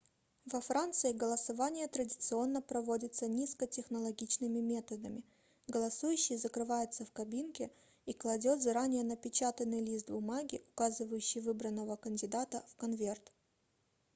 во франции голосование традиционно проводится низкотехнологичными методами голосующий закрывается в кабинке и кладет заранее напечатанный лист бумаги указывающий выбранного кандидата в конверт